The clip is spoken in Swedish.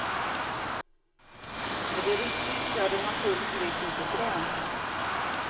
Är det riktigt så är det naturligtvis inte bra.